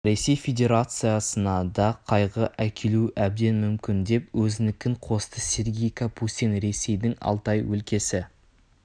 ресей федерациясына да қайғы әкелуі әбден мүмкін деп өзінікін қосты сергей капустин ресейдің алтай өлкесі